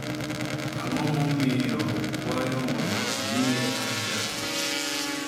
Ang’o momiyo okwayo mondo omiye kar dak?